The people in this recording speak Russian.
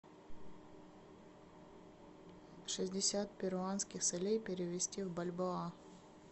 шестьдесят перуанских солей перевести в бальбоа